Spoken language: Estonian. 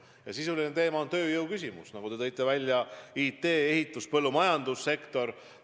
Ja see teema on tööjõu küsimus, nagu te märkisite: IT-, ehitus-, põllumajandussektor.